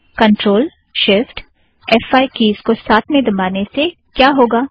control shift F five keys को एक साथ दबाने से क्या होगा